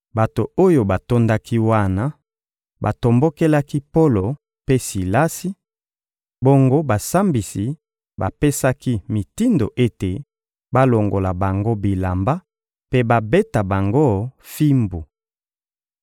Bato oyo batondaki wana batombokelaki Polo mpe Silasi, bongo basambisi bapesaki mitindo ete balongola bango bilamba mpe babeta bango fimbu.